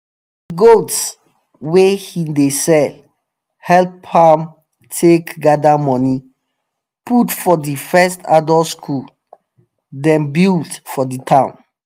the goats wey he dey sell help am take gather money put for the first adult school them build for the town.